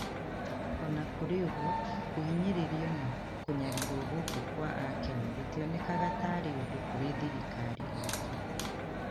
O na kũrĩ ũguo, kũhinyĩrĩrio na kũnyarirwo guku kwa a Kenya gũtionekaga ta ari udu kũrĩ thirikari itũ